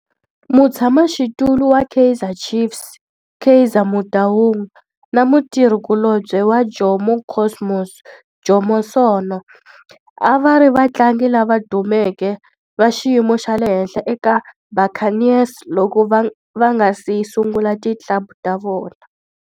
Mutshama xitulu wa Kaizer Chiefs Kaizer Motaung na mutirhi kulobye wa Jomo Cosmos Jomo Sono a va ri vatlangi lava dumeke va xiyimo xa le henhla eka Buccaneers loko va nga si sungula ti club ta vona.